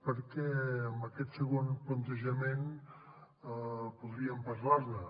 perquè amb aquest segon plantejament podríem parlar ne